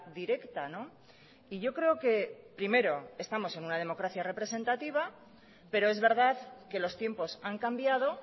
directa y yo creo que primero estamos en una democracia representativa pero es verdad que los tiempos han cambiado